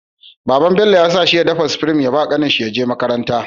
Baban Bello yasa shi ya dafa supreme ya bawa kanin shi yaje makaranta da ita